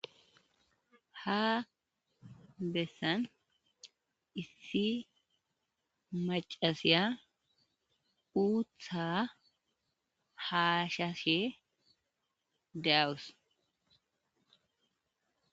Ha bessan issi macasiya uutha haashashe daawus